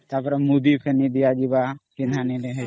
ତା ପରେ ମୁଦି ଫେଣି ଦିଆଯିବ ପୀନହାନୀ ରେ ହେଟା